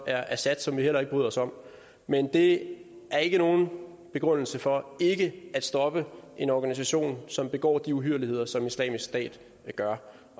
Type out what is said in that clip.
er assad som vi heller ikke bryder os om men det er ikke nogen begrundelse for ikke at stoppe en organisation som begår de uhyrligheder som islamisk stat gør